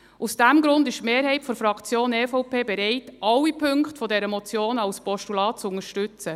Aus diesem Grund ist die Mehrheit der Fraktion EVP dafür, alle Punkte dieser Motion als Postulat zu unterstützen.